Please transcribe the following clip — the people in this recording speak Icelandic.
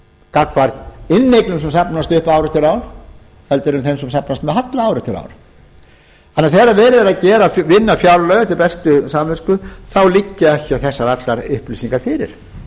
gagnvart inneignum sem safnast upp ár eftir ár heldur en þeim sem safnast með halla ár eftir ár þannig að þegar verið er að vinna fjárlög eftir bestu samvisku þá liggja ekki allar þessar upplýsingar fyrir